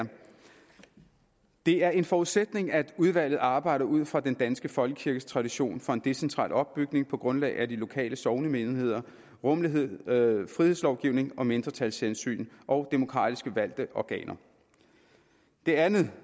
det er en forudsætning at udvalget arbejder ud fra den danske folkekirkes tradition for en decentral opbygning på grundlag af de lokale sognemenigheder rummelighed frihedslovgivning mindretalshensyn og demokratiske valgte organer den anden